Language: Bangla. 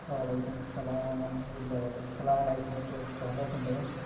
ওয়ালাইকুম আসসালাম আলহামদুলিল্লাহ ভালো আসসালামু আলাইকুম কি অবস্থা ভালো আছেন ভাইয়া?